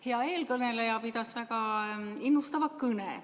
Hea eelkõneleja pidas väga innustava kõne.